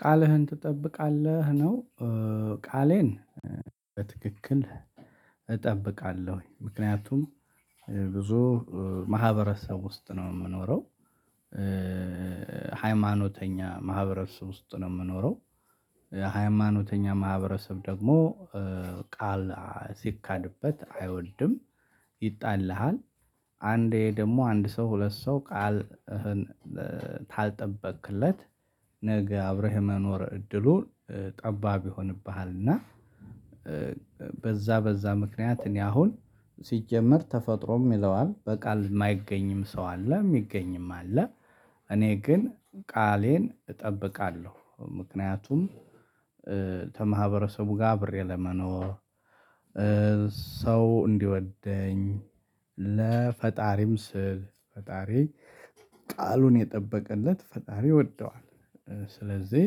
ቃልህን ትጠብቃለህ ነው ቃሌን በትክክል እጠብቃለሁ ምክንያቱም ብዙ ማህበረሰብ ውስጥ ነው የምኖረው ሃይማኖተኛ ማህበረሰብ ውስጥ ነው የምኖረው ሃይማኖተኛ ማህበረሰብ ደግሞ ቃል ሲካድበት አይወድም ይጣላሃል አንዴ ደግሞ አንድ ሰው ሁለት ሰው ቃልህን ካልጠበቅክለት ነገ አብረህ የመኖር እድሉን ጠባብ ይሆንብሃል እና በዛ በዛ ምክንያት እኔ አሁን ሲጀመር ተፈጥሮም ይለዋል በቃል የማይገኝም ሰው አለ የሚገኝም አለ እኔ ግን ቃሌን እጠብቃለሁ ምክንያቱም ከማህበረሰቡ ጋር አብሬ ለመኖር ሰው እንዲወደኝ ለፈጣሪም ስል ፈጣሪ ቃሉን የጠበቀለት ፈጣሪ ይወደዋል ስለዚህ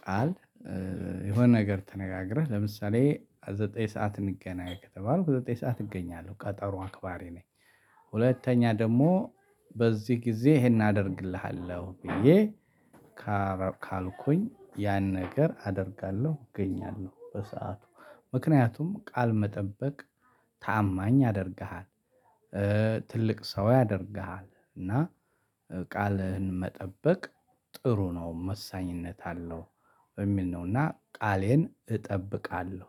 ቃል የሆነ ነገር ተነጋግረህ ለምሳሌ ዘጠኝ ሰዓት እንገናኝ ከተባልኩ ዘጠኝ ሰዓት እገኛለሁ ቀጠሮ አክባሪ ነኝ ሁለተኛ ደግሞ በዚህ ጊዜ ይሄን አደርግልሃለሁ ብዬ ካልኩኝ ያን ነገር አደርጋለሁ እገኛለሁ በሰአቱ ምክንያቱም ቃል መጠበቅ ታማኝ ያደርግሃል ትልቅ ሰው ያደርግሃል እና ቃልህን መጠበቅ ጥሩ ነው ወሳኝነት አለው። የሚል ነውና ቃሌን እጠብቃለሁ።